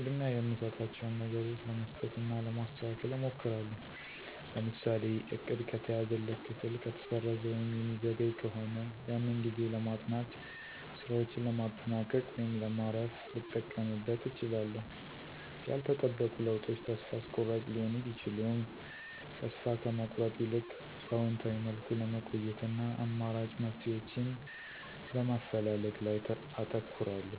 ቅድሚያ የምሰጣቸውን ነገሮች ለመስጠት እና ለማስተካከል እሞክራለሁ። ለምሳሌ:- እቅድ ከተያዘለት ክፍል ከተሰረዘ ወይም የሚዘገይ ከሆነ ያንን ጊዜ ለማጥናት፣ ሥራዎችን ለማጠናቀቅ ወይም ለማረፍ ልጠቀምበት እችላለሁ። ያልተጠበቁ ለውጦች ተስፋ አስቆራጭ ሊሆኑ ቢችሉም ተስፋ ከመቁረጥ ይልቅ በአዎንታዊ መልኩ ለመቆየት እና አማራጭ መፍትሄዎችን በማፈላለግ ላይ አተኩራለሁ።